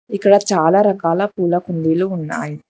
ఇక్కడ చాలా రకాల పూలకు కుండీలు ఉన్నాయి.